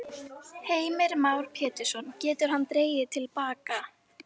Heimir Már Pétursson: Getur hann dregið til baka?